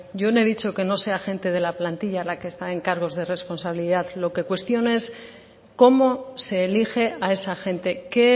yo no he dicho que no sea gente de la plantilla la que está en cargos de responsabilidad lo que cuestiono es cómo se elige a esa gente qué